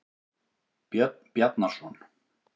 Björn Bjarnarson.